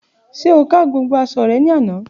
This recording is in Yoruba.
Ṣe o pa gbogbo aṣọ rẹ ni ana?